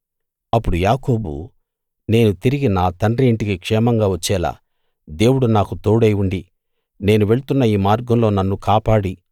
అప్పుడు యాకోబు నేను తిరిగి నా తండ్రి ఇంటికి క్షేమంగా వచ్చేలా దేవుడు నాకు తోడై ఉండి నేను వెళ్తున్న ఈ మార్గంలో నన్ను కాపాడి